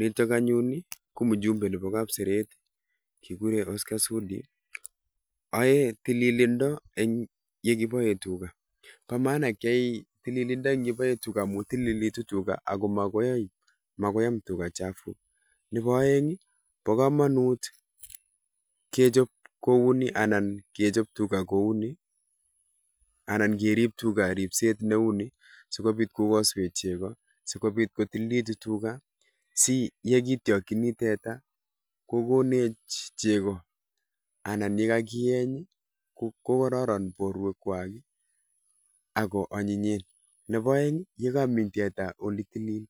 Yutok anyun ko mjumbe nebo kapseret. Kigure Oscar sudi. Aei tililindo eng yekiboe tuga bo maana kiyai tililindo eng olekiboe tuga amun tulilitu tuga ako makoi am tuga chafuk. Nebo oeng bo komanut kechop kou nii anan kechop tuga kou ni, anan kerip tunga ripset neu ni sikobit kokaswech cheko. Sikobit kotililitu tuga si yekityokchini tete kokonech cheko anan ye kakieny kokororon porwek kwai ako anyinyen. Nebo oeng ye karu tete ole uni